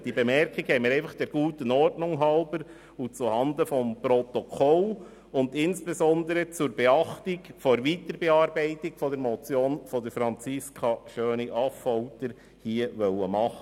Diese Bemerkung wollten wir der guten Ordnung halber und zuhanden des Protokolls sowie insbesondere zur Beachtung der Weiterbearbeitung der Motion von Franziska Schöni-Affolter hier anbringen.